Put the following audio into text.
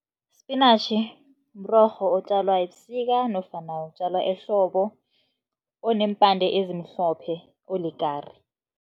Spinatjhi mrorho otjalwa ebusika nofana otjalwa ehlobo, oneempande ezimhlophe, olikari.